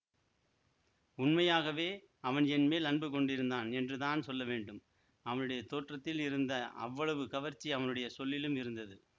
உண்மையாகவே அவன் என்மேல் அன்பு கொண்டிருந்தான் என்றுதான் சொல்லவேண்டும் அவனுடைய தோற்றத்தில் இருந்த அவ்வளவு கவர்ச்சி அவனுடைய சொல்லிலும் இருந்தது